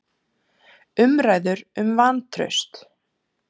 Umræður um vantraust